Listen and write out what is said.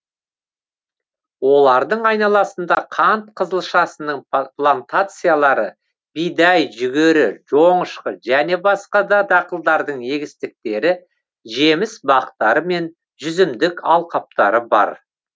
олардың айналасында қант қызылшасының плантациялары бидай жүгері жоңышқы және басқа да дақылдардың егістіктері жеміс бақтары мен жүзімдік алқаптары бар